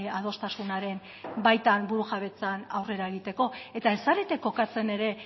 adostasunaren baitan burujabetzan aurrea egiteko eta ez zarete kokatzen ere